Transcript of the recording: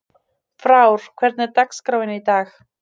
Frár, hvernig er dagskráin í dag?